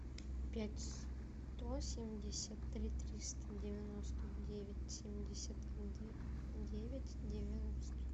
пять сто семьдесят три триста девяносто девять семьдесят девять девяносто